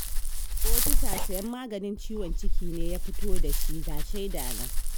Ofisa sayen maganin ciwon ciki ne ya fito da shi ga shaida nan